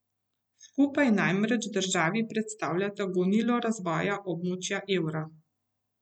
Skupaj namreč državi predstavljata gonilo razvoja območja evra.